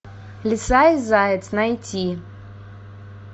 лиса и заяц найти